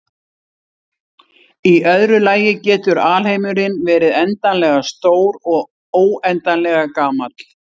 Í öðru lagi getur alheimurinn verið endanlega stór og óendanlega gamall.